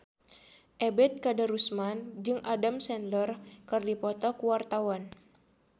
Ebet Kadarusman jeung Adam Sandler keur dipoto ku wartawan